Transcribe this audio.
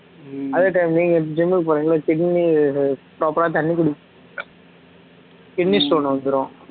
அதே time நீங்க gym க்கு போறீங்கல்ல kidney proper ஆ தண்ணி kidney stone வந்துரும்